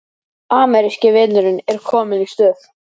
Ameríski vinurinn er kominn í stuð